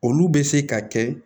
Olu bɛ se ka kɛ